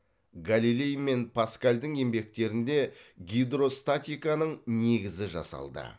галилей мен паскальдің еңбектерінде гидростатиканың негізі жасалды